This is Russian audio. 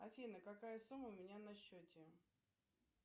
афина какая сумма у меня на счете